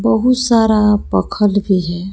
बहुत सारा पक्खल भी है।